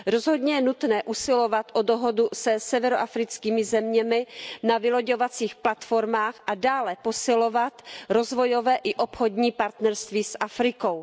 Rozhodně je nutné usilovat o dohodu se severoafrickými zeměmi na vyloďovacích platformách a dále posilovat rozvojové i obchodní partnerství s Afrikou.